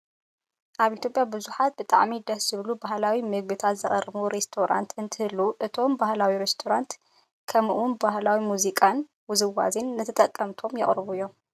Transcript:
ኣብ ኢትዮጵያ ብዙሓት ብጣዕሚ ደስ ዝብሉ ባህላዊ ምግብታት ዘቅርቡ ሬስቶራንታት እንትህልው እቶም ባህላዊ ሬስቶራንታት ከምኡውን ባህላዊ ሙዚቃታትን ውዝዋዜታትን ንተጠቀምቶም የቅርቡ እዮም።